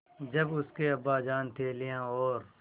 जब उसके अब्बाजान थैलियाँ और